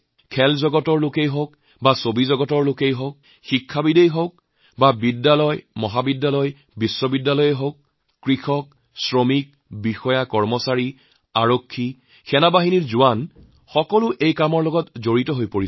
খেল জগতৰ মানুহেই হওঁক বা চিনেমা জগতৰ লোকশিক্ষা জগতৰ লোক স্কুল মহাবিদ্যালয় বিশ্ববিদ্যালয় কৃষক মজদুৰ বিষয়া কেৰাণী আৰক্ষী সৈনিকসকলে ইয়াৰ সৈতে জড়িত হৈ পৰিছে